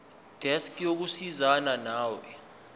desk yokusizana nawe